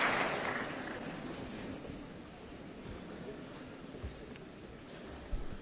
Meine sehr geehrten Damen und Herren, liebe Kolleginnen und Kollegen, verehrte Gäste!